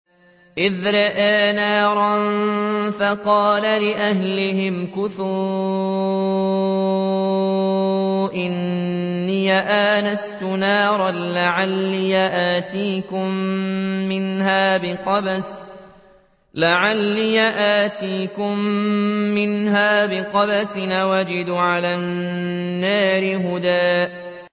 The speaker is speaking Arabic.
إِذْ رَأَىٰ نَارًا فَقَالَ لِأَهْلِهِ امْكُثُوا إِنِّي آنَسْتُ نَارًا لَّعَلِّي آتِيكُم مِّنْهَا بِقَبَسٍ أَوْ أَجِدُ عَلَى النَّارِ هُدًى